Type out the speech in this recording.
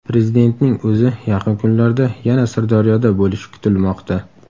Prezidentning o‘zi yaqin kunlarda yana Sirdaryoda bo‘lishi kutilmoqda.